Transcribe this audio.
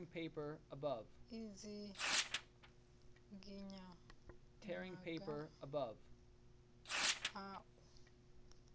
u dzinginya maga a u